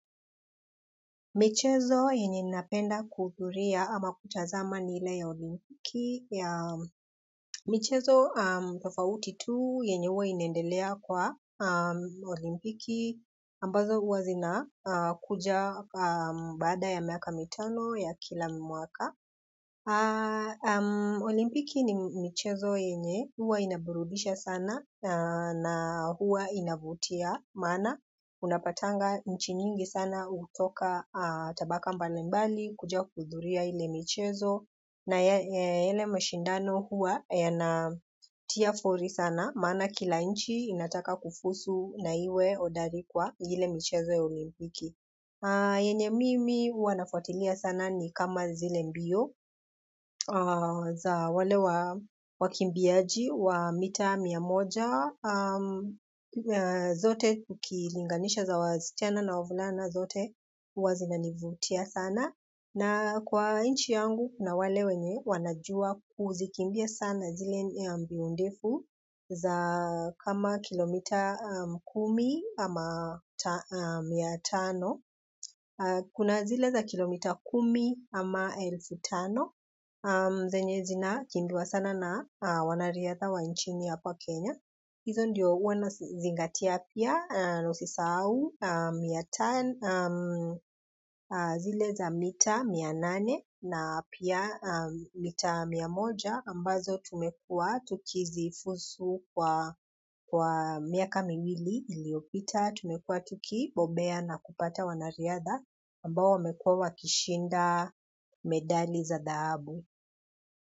Michezo yenye napenda kuhudhuria ama kutazama ni ile ya olimpiki. Michezo tofauti tu yenye huwa inaendelea kwa olimpiki ambazo huwa zinakuja baada ya miaka mitano ya kila mwaka. Olimpiki ni mchezo yenye, huwa inaburudisha sana na huwa inavutia maana unapatanga nchi nyingi sana hutoka tabaka mbalimbali, kuja kuhudhuria ile michezo na yale mashindano huwa yanatia fori sana, maana kila nchi inataka kufuzu na iwe hodari kwa ile mchezo ya olimpiki yenye mimi huwa nafuatilia sana ni kama zile mbio za wale wakimbiaji wa mita mia moja zote ukilinganisha za wasichana na wavulana zote huwa zinanivutia sana. Na kwa nchi yangu, kuna wale wenye wanajua kuzikimbia sana zile mbio ndefu za kama kilomita kumi ama mia tano. Kuna zile za kilomita kumi ama elfu tano zenye zinakimbiwa sana na wanariadha wa nchini hapa kenya hizo ndio huwa nazingatia pia, usisahau zile za mita, mia nane, na pia mita mia moja, ambazo tumekuwa tukizifuzu kwa miaka miwili iliyopita, tumekuwa tukibobea na kupata wanariadha, ambao wamekuwa wakishinda medali za dhahabu.